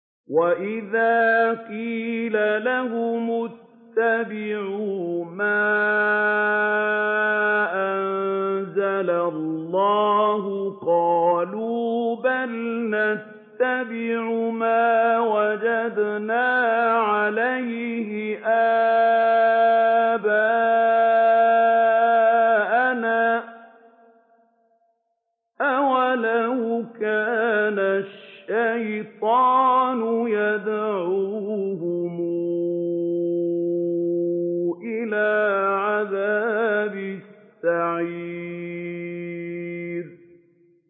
وَإِذَا قِيلَ لَهُمُ اتَّبِعُوا مَا أَنزَلَ اللَّهُ قَالُوا بَلْ نَتَّبِعُ مَا وَجَدْنَا عَلَيْهِ آبَاءَنَا ۚ أَوَلَوْ كَانَ الشَّيْطَانُ يَدْعُوهُمْ إِلَىٰ عَذَابِ السَّعِيرِ